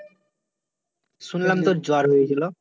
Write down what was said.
শুনলাম তোর জ্বর হয়েছিলো?